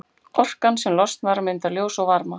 Orkan sem losnar myndar ljós og varma.